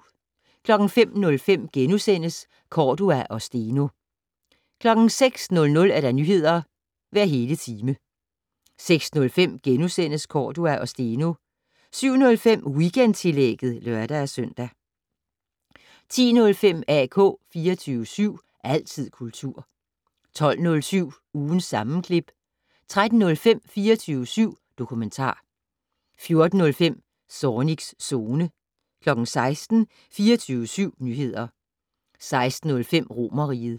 05:05: Cordua og Steno * 06:00: Nyheder hver hele time 06:05: Cordua og Steno * 07:05: Weekendtillægget (lør-søn) 10:05: AK 24syv. Altid kultur 12:07: Ugens sammenklip 13:05: 24syv dokumentar 14:05: Zornigs Zone 16:00: 24syv Nyheder 16:05: Romerriget